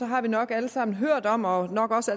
har vi nok alle sammen hørt om og nok også